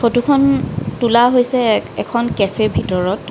ফটোখন তোলা হৈছে এক-এখন কেফে ভিতৰত।